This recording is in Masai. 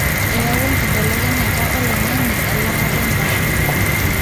eyawua enkibelekenyata oloingange elaata endaa.